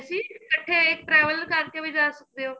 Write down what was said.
ਸੀ ਇਕਠੇ ਇੱਕ traveler ਕਰ ਕੇ ਵੀ ਜਾ ਸਕਦੇ ਓ